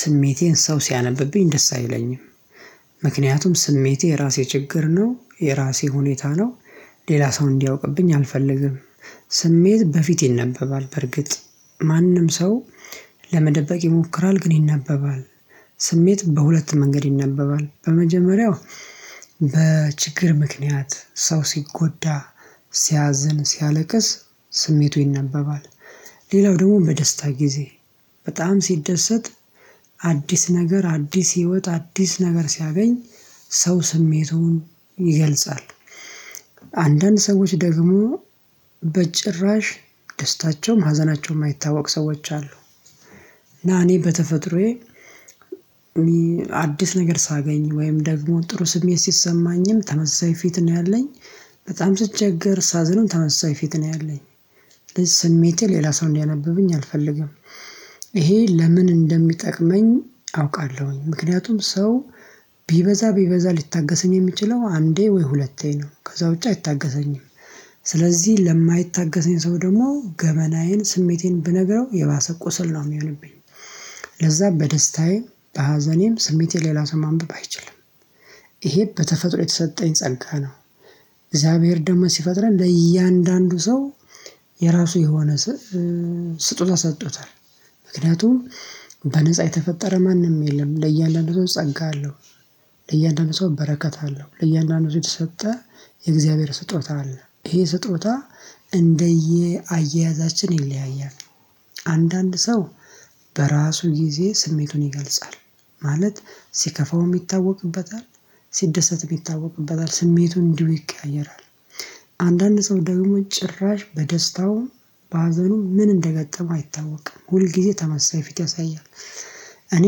ስሜቴን ሰው ሲያነብብኝ ደስ አይለኝም። ምክንያቱም ስሜቴ የራሴ ችግር ነው የራሴ ሁኔታ ነው። ሌላ ሰው እንዲያውቅብኝ አልፈልግም። ስሜት በፊት ይነበባል በርግጥ ማንም ሰው ለመደበቅ ይሞክራል ግን ይነበባል። ስሜት በሁለት መንገድ ይነበባል በመጀመሪያው በችግር ምክንያት ሰው ሲጎዳ ሲያዝን ሲያለቅስ ስሜቱ ይነበባል። ሌላው ደግሞ በደስታ ጊዜ በጣም ሲደሰት አዲስ ነገር አዲስ ህይወት አዲስ ነገር ሲያገኝ ሰው ስሜቱን ይገልጻል። አንዳንድ ሰዎች ደግሞ በጭራሽ ደስታቸውም ሀዘናቸውም አይታወቅ ሰዎች አሉ። እና እኔ በተፈጥሮዬ አዲስ ነገር ሳገኝ ወይም ደግሞ ጥሩ ስሜት ሲሰማኝም ተመሳሳይ ፊት ነው ያለኝ። በጣም ስቸገር ሳዝንም ተመሳሳይ ፊት ነው ያለኝ። ሌላ ሰው እንዲያነብብኝ አልፈልግም። ይሄ ለምን? እንደሚጠቅመኝ አውቃለሁኝ ምክንያቱም ሰው ቢበዛ ቢበዛ ሊታገሰኝ የሚችለው አንዴ ወይ ሁለቴ ነው ከዛ ውጪ አይታገሰኝም። ስለዚህ ለማይታገሰኝ ሰው ደግሞ ገበናዬን ስሜቴን ብነግረው የባሰ ቁስል ነው የሚሆንብኝ። ለዛ በደስታዬ በሀዘኔም ስሜቴ ሌላ ሰው ማንበብ አይችልም። ይሄ በተፈጥሮ የተሰጠኝ ጸጋ ነው። እግዚአብሔር ደግሞ ሲፈጥረን ለእያንዳንዱ ሰው የራሱ የሆነ ስጦታ ሰጥቶታል። ምክንያቱም በነፃ የተፈጠረ ማንም የለም ለእያንዳንዱ ሰው ጸጋ አለው። ለእያንዳንዱ ሰው በረከት አለው ለእያንዳንዱ ሰው የተሰጠ የእግዚአብሔር ስጦታ አለ ይሄ ስጦታ እንደየ አያያዛችን ይለያያል። አንዳንድ ሰው በራሱ ጊዜ ስሜቱን ይገልጻል ማለት ሲከፋውም ይታወቅበታል ሲደሰትም ይታወቅበታል ስሜቱን እንዲሁ ይቀያየራል። አንዳንድ ሰው ደግሞ ጭራሽ በደስታውም በሀዘኑ ምን እንደገጠመው አይታወቅም ሁል ጊዜ ተመሳሳይ ፊት ያሳያል። እኔ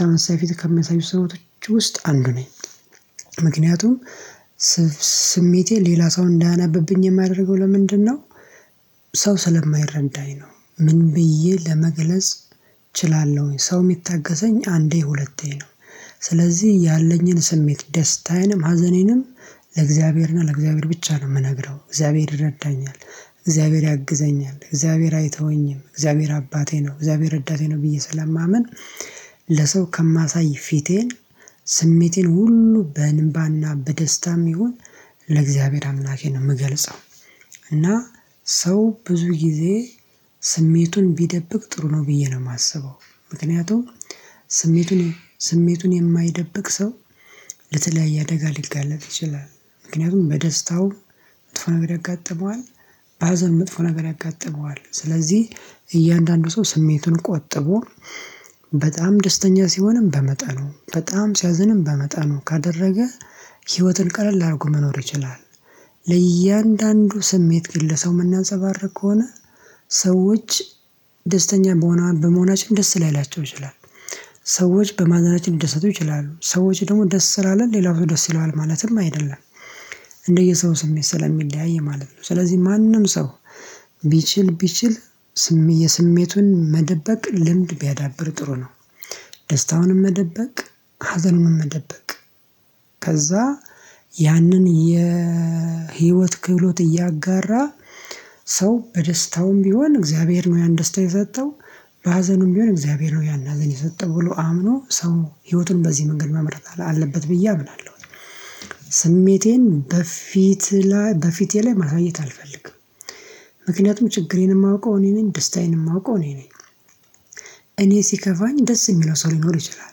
ተመሳሳይ ፊት ከሚያሳዩ ሰዎች ውስጥ አንዱ ነኝ። ምክንያቱም ስሜቴ ሌላ ሰው እንዳያነበብኝ የማደርገው ለምንድነው? ሰው ስለማይረዳኝ ነው ምን ብዬ ለመገለጽ እችላለሁኝ ሰው የሚታገሰኝ አንዴ ሁለቴ ነው። ስለዚህ ያለኝን ስሜት ደስታዬንም ሀዘኔንም ለእግዚአብሔርና ለእግዚአብሔር ብቻ ነው የምነግረው እግዚአብሔር ይረዳኛል። እግዚአብሔር ያግዘኛል እግዚአብሔር አይተውኝም እግዚአብሔር አባቴ ነው እግዚአብሔር ረዳቴ ነው ብዬ ስለማምን። ለሰው ከማሳይ ፊቴን ስሜቴን ሁሉ በእንባና በደስታም ይሁን ለእግዚአብሔር አምላኬ ነው የምገልጻው። እና ሰው ብዙ ጊዜ ስሜቱን ቢደብቅ ጥሩ ነው ብዬ ነው የማስበው። ምክንያቱም ስሜቱን ስሜቱን የማይደብቅ ሰው ለተለያየ አደጋ ሊጋለጥ ይችላል። ምክንያቱም በደስታው መጥፎ ነገር ያጋጥመዋል። በሀዘን መጥፎ ነገር ያጋጥመዋል ስለዚህ እያንዳንዱ ሰው ስሜቱን ቆጥቦ በጣም ደስተኛ ሲሆንም በመጡ በጣም ሲያዝንም በመጠኑ ካደረገ ህይወትን ቀለል ላድርጉ መኖር ይችላል። ለእያንዳንዱ ስሜት ግን ለሰው የምናንፀባርቅ ከሆነ ሰዎች ደስተኛ በመሆናችን ደስ ላይላቸው ይችላል። ሰዎች በማዘናችን ሊደሰቱ ይችላሉ ሰዎች ደግሞ ደስ ስላለን ሌላው ሰው ደስ ይለዋል ማለትም አይደለም። እንደየሰው ስሜት ስለሚለያይ ማለት ነው። ስለዚህ ማንም ሰው ቢችል ቢችል የስሜቱን መደበቅ ልምድ ቢያዳብር ጥሩ ነው። ደስታውንም መደበቅ ሀዘንም መደበቅ ከዛ ያንን የህይወት ክህሎት እያጋራ ሰው በደስታውም ቢሆን እግዚአብሔር ነው ያን ደስታ የሰጠው። በሀዘኑም ቢሆን እግዚአብሔር ነው ያን ሀዘን የሰጠው ብሎ አምኖ ሰው ህይወቱን በዚህ መንገድ መምራት አለበት ብዬ አምናለሁ። ስሜቴን በፊት ላይ በፊቴ ላይ ማሳየት አልፈልግም። ምክንያቱም ችግሬን የማውቀው እኔ ነኝ ደስታዬን የማውቀው እኔ ነኝ። እኔ ሲከፋኝ ደስ የሚለው ሰው ሊኖር ይችላል።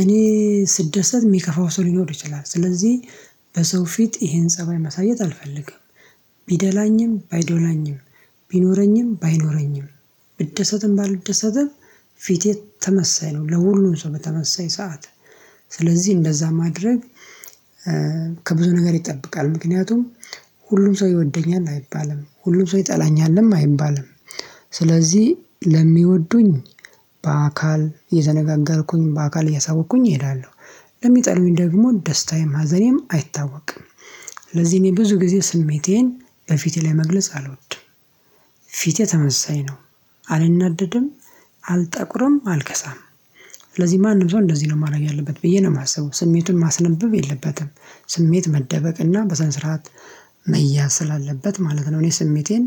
እኔ ስደሰት የሚከፋው ሰው ሊኖር ይችላል ስለዚህ በሰው ፊት ይሄን ፀባይ ማሳየት አልፈልግም። ቢደላኝም ባይዶላኝም ቢኖረኝም ባይኖረኝም ብደሰትም ባልደሰትም ፊቴ ተመሳይ ነው ለሁሉም ሰው በተመሳይ ሰዓት። ስለዚህ እንደዛ ማድረግ ከብዙ ነገር ይጠበቃል ምክንያቱም ሁሉም ሰው ይወደኛል አይባልም ሁሉም ሰው ይጠላኛልም አይባልም። ስለዚህ ለሚወዱኝ በአካል እየተነጋገርኩኝ በአካል እያሳወቅኩኝ እሄዳለሁ። ለሚጠሉኝ ደግሞ ደስታዬም ሀዘኔም አይታወቅም። ስለዚህ እኔ ብዙ ጊዜ ስሜቴን በፊቴ ላይ መግለጽ አልወድም። ፊቴ ተመሳሳይ ነው። አልናደድም አልጠቁርም አልከሳም። ስለዚህ ማንም ሰው እንደዚህ ነው ማድረግ ያለበት ብዬ ነው የማስበው ስሜቱን ማስነብብ የለበትም። ስሜት መደበቅ እና በስነ ስርዓት መያዝ ስላለበት ማለት ነው። እኔ ስሜቴን